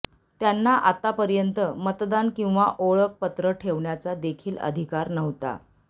त्यांना आतापर्यंत मतदान किंवा ओळख पत्र ठेवण्याचा देखील अधिकार नव्हता